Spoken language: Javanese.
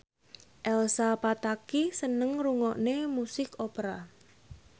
Elsa Pataky seneng ngrungokne musik opera